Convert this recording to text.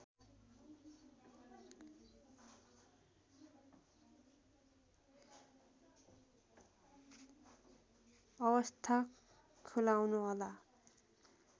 अवस्था खुलाउनुहोला